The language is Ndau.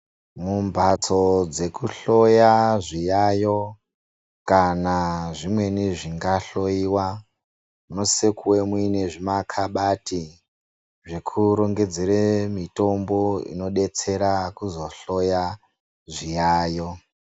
Mumbatso dzekuhloya zviyayo kana zvimweni zvinga hloiwa munosise kunge muine zvima kabati zvekurongedzere mitombo inodetsera kuzohloya zviyayo.